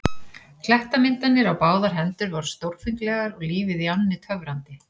Klettamyndanir á báðar hendur voru stórfenglegar og lífið í ánni töfrandi.